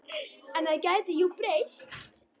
En það gæti jú breyst!